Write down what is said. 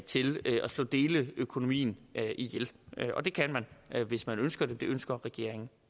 slå deleøkonomien ihjel og det kan man hvis man ønsker det det ønsker regeringen